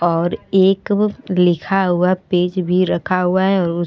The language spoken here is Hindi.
और एक लिखा हुआ पेज भी रखा हुआ है और उ --